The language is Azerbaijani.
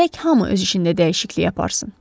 Gərək hamı öz işində dəyişiklik aparsın.